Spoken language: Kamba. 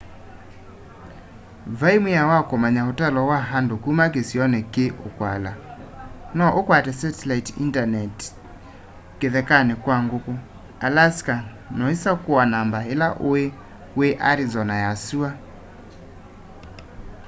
vai mwao wa kumanya utalo wa nadu kuma kisioni ki ukwikala no ukwate satellite internet kithekani kwa nguku alaska na uisakua namba ila ui wi arizona ya sua